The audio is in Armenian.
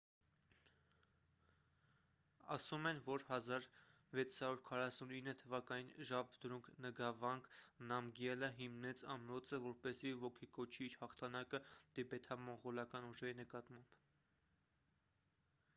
ասում են որ 1649 թվականին ժաբդրունգ նգավանգ նամգյելը հիմնեց ամրոցը որպեսզի ոգեկոչի իր հաղթանակը տիբեթամոնղոլական ուժերի նկատմամբ